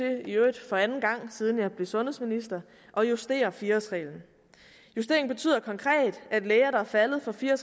i øvrigt for anden gang siden jeg blev sundhedsminister at justere fire årsreglen justeringen betyder konkret at læger der er faldet for fire